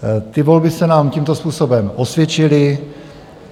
Ty volby se nám tímto způsobem osvědčily.